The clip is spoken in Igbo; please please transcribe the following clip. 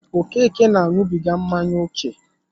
Okeke na añubiga mmanya ókè